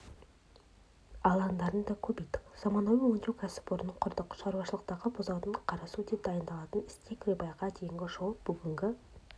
алаңдарын көбейттік заманауи өңдеу кәсіпорнын құрдық шаруашылықтағы бұзаудан қарасу те дайындалатын стейк-рибайға дейінгі жол бүгінгі